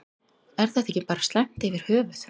Er þetta ekki bara slæmt yfir höfuð?